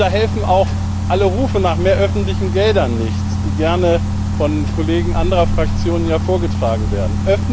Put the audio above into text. Da helfen auch mehr Rufe nach mehr öffentlichen Geldern nichts, die gerne von Kollegen anderer Fraktionen vorgetragen werden.